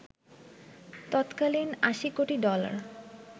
তত্কালীন ৮০ কোটি ডলার